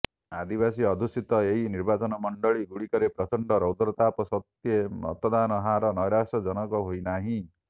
ଆଦିବାସୀ ଅଧ୍ୟୁଷିତ ଏହି ନିର୍ବାଚନମଣ୍ଡଳୀ ଗୁଡିକରେ ପ୍ରଚଣ୍ଡ ରୌଦ୍ରତାପ ସତ୍ୱେ ମତଦାନ ହାର ନୈରାଶ୍ୟଜନକ ହୋଇନାହିଁ